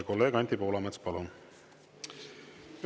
Kolleeg Anti Poolamets, palun!